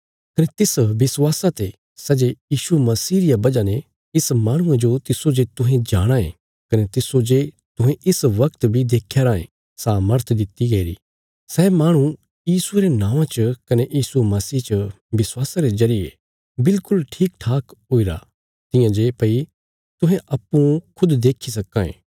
कने तिस विश्वासा ते सै जे यीशु मसीह रिया वजह ने इस माहणुये जो तिस्सो जे तुहें जाणाँ ये कने तिस्सो जे तुहें इस वगत बी देख्या राँये सामर्थ दित्ति गैईरी सै माहणु यीशुये रे नौआं च कने यीशु मसीह च विश्वासा रे जरिये विल्कुल ठीकठाक हुईरा तियां जे भई तुहें अप्पूँ खुद देखी सक्कां ये